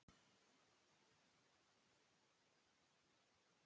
Nú veit ég ekkert hvað ykkur hefur farið á milli?